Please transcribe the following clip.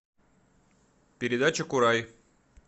передача курай